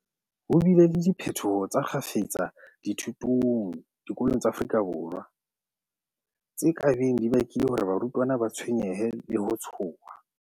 Ho bile le diphetoho tsa kgafetsa dithutong diko long tsa Afrika Borwa, tse ka beng di bakile hore barutwana ba tshwenyehe le ho tshoha.